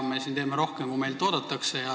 Meie siin teeme rohkem, kui meilt oodatakse.